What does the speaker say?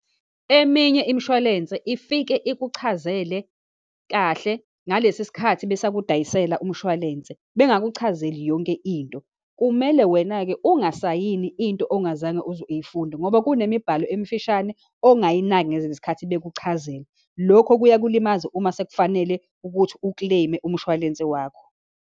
Eminye imishwalense ifike ikuchazele kahle ngalesi sikhathi besakudayisela umshwalense, bengikuchazeli yonke into. Kumele wena-ke ungasayini into ongazange uyifunda, ngoba kunemibhalo emifishane ongayinaki ngezisikhathi bekuchazela. Lokho kuyakulimaza, uma sekufanele ukuthi ukleyime umshwalense wakho.